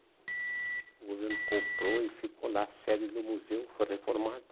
O governo comprou e ficou lá, a sede do museu foi reformada.